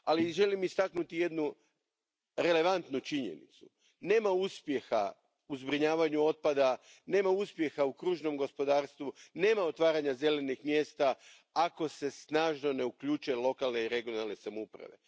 Želim istaknuti jednu relevantnu činjenicu nema uspjeha u zbrinjavanju otpada, nema uspjeha u kružnom gospodarstvu, nema otvaranja zelenih mjesta, ako se snažno ne uključe lokalne i regionalne samouprave.